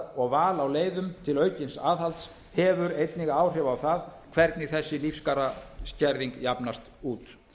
og val á leiðum til aukins aðhalds hefur einnig áhrif á það hvernig þessi lífskjaraskerðing jafnast út